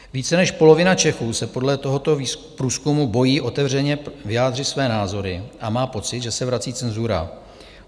Více než polovina Čechů se podle tohoto průzkumu bojí otevřeně vyjádřit své názory a má pocit, že se vrací cenzura.